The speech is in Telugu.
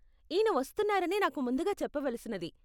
ఈయన వస్తున్నారని నాకు ముందుగా చెప్పవలసినది.